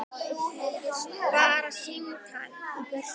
Bara símtal í burtu.